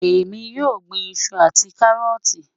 Ẹ̀mi yóò gbìn ìṣù àti kárọ́ọ̀tì.